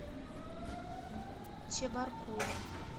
чебаркуля